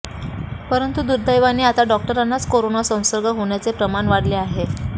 परंतु दुर्दैवाने आता डॉक्टरांनाच कोरोना संसर्ग होण्याचे प्रमाण वाढले आहे